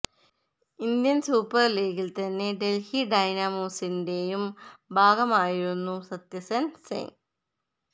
Indian super ലീഗിൽ തന്നെ ഡൽഹി ഡൈനാമോസിന്റെയും ഭാഗമായിരുന്നും സത്യസെൻ സിങ്